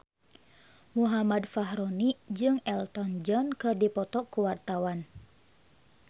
Muhammad Fachroni jeung Elton John keur dipoto ku wartawan